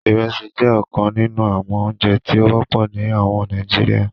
Ìrẹ̀sì jẹ ọ̀kàn nínu àwọn ọ̀ǹjẹ̀ tí o wọpọ̀ ní àwọn Nàìjíríà.